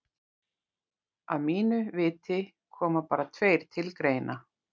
Að mínu viti koma bara tveir til greina.